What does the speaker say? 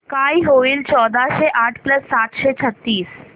काय होईल चौदाशे आठ प्लस सातशे छ्त्तीस